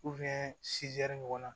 ɲɔgɔnna